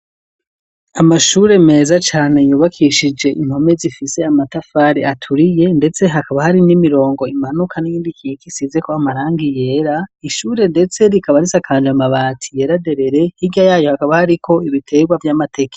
Amashure, meza cane, yubakishije impome, zifise amatafari, aturiye, ndetse hakaba, hari n'imirongo imanuka, n'iyindi ikika, isizeko amarangi yera; ishure ndetse, rikaba risakaje, amabati yera derere; hirya yayo, hakaba, hariko ibiterwa vy'amateke.